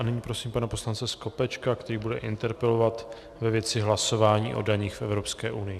A nyní prosím pana poslance Skopečka, který bude interpelovat ve věci hlasování o daních v Evropské unii.